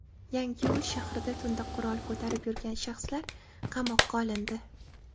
Yangiyo‘l shahrida tunda qurol ko‘tarib yurgan shaxslar qamoqqa olindi.